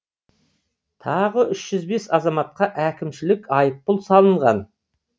тағы үш жүз бес азаматқа әкімшілік айыппұл салынған